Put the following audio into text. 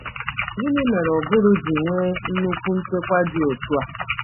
Gịnị mere ụbụrụ ji nwee nnukwu nchekwa dị otu a?